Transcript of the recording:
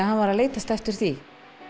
hann var að leitast eftir því